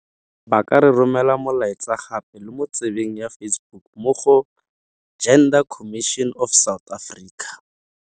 Ba ka re romela molaetsa gape le mo tsebeng ya Facebook mo go Gender Commission of South Africa.